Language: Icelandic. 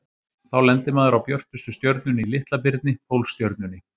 Þá lendir maður á björtustu stjörnunni í Litla-birni, Pólstjörnunni.